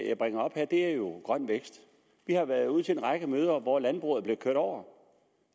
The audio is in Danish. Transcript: jeg bringer op her er jo grøn vækst vi har været ude til en række møder hvor landbruget er blevet kørt over